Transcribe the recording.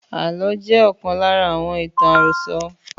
Àlọ́ jẹ́ ọ̀kan lára ​​àwọn ìtàn àròsọ